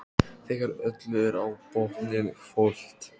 Þegar öllu er á botninn hvolft.